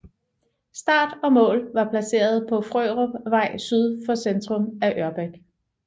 Start og mål var placeret på Frørupvej syd for centrum af Ørbæk